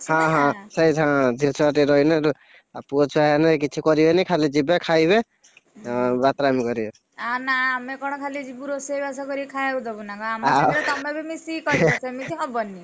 ଝିଅ ଛୁଆଟେ ରହିଲେ ଆଉ ପୁଅ ଛୁଆ ହେଲେ କିଛି କରିବେନି ଖାଲି ଯିବେ ଖାଇବେ, ଏଁ ବାତରାମି କରିବେ ଆ ନା ଆମେ କଣ ଖାଲି ଯିବୁ ରୋଷେଇବାସ କରିକି ଖାୟାକୁଦବୁ ନା କଣ ଆମ ସାଙ୍ଗରେ ତମେ ବି ମିଶିକି କରିବ ସେମିତି ହବନି।